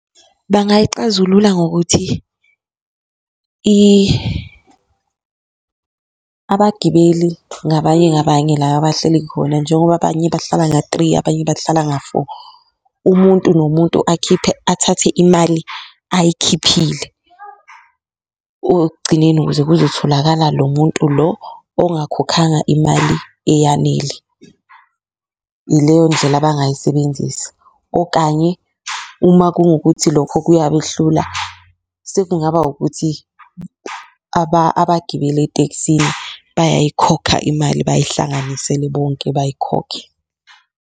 Bangayixazulula ngokuthi abagibeli ngabanye ngabanye la abahleli khona, njengoba abanye bahlala nga-three abanye bahlala nga-four, umuntu nomuntu akhiphe athathe imali ayikhiphile ekugcineni ukuze kuzotholakala lo muntu lo ongakhokhanga imali eyanele, ileyo ndlela abangayisebenzisi. Okanye uma kungukuthi lokho kuyabehlula sekungaba ukuthi abagibeli etekisini bayayikhokha imali, bayihlanganisele bonke bayikhokhe.